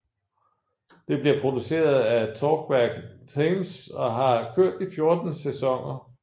Det bliver produceret af Talkback Thames og har kørt i 14 sæsoner